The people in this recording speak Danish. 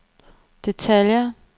detaljer